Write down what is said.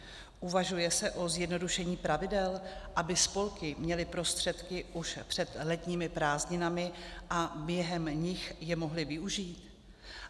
Uvažuje se o zjednodušení pravidel, aby spolky měly prostředky už před letními prázdninami a během nich je mohly využít?